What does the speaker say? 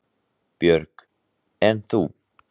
Björg: En þú?